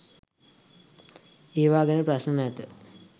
ඒවා ගැන ප්‍රශ්න නැත